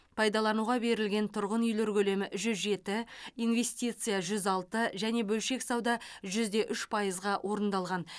пайдалануға берілген тұрғын үй көлемі жүз жеті инвестиция жүз алты және бөлшек сауда жүз де үш пайызға орындалған